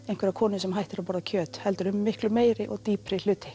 einhverja konu sem hættir að borða kjöt heldur um miklu meiri og dýpri hluti